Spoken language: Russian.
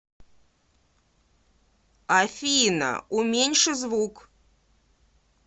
афина уменьши звук